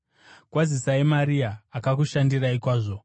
Kwazisai Maria, akakushandirai kwazvo.